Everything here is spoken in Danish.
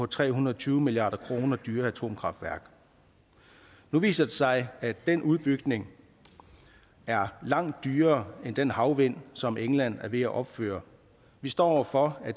tre hundrede og tyve milliard kroner dyre atomkraftværk nu viser det sig at den udbygning er langt dyrere end den havvind som england er ved at opføre vi står over for at